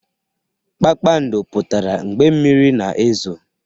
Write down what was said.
Kpakpando pụtara mgbe mmiri na-ezo